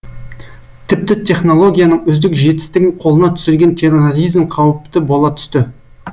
тіпті технологияның үздік жетістігін қолына түсірген терроризм қауіпті бола түсті